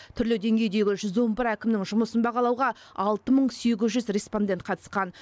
түрлі деңгейдегі жүз он бір әкімнің жұмысын бағалауға алты мың сегіз жүз респондент қатысқан